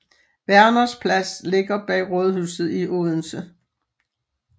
Werners Plads ligger bag rådhuset i Odense